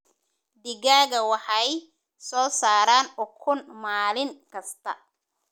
Digaagga waxay soo saaraan ukun maalin kasta.